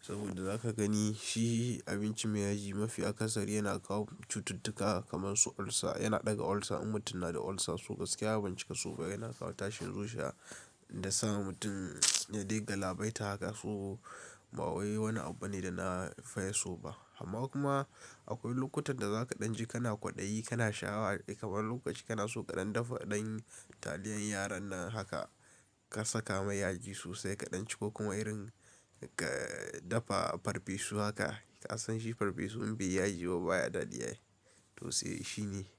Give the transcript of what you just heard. saboda za ka gani shi abinci mai yaji mafi akasari yana kawo cututtuka kamar su ulcer. Yana ɗaga ulcer, in mutum na da ulcer, so gaskiya ban cika so ba. Yana kawo tashin zuciya da sa mutum ya dai galabaita haka, so ba wani abu ne da na fiya so ba. Amma kuma akwai lokutan da za ka ɗan ji kana kwaɗayi, kana sha'awa kamar wani lokaci kana so ka ɗan dafa ɗan taliyan yaran nan haka ka saka mai yaji sosai ka ɗan ci ko kuma irin ka dafa farfesu haka ka san shi farfesu in bai yi yaji ba baya daɗi. To sai, shine.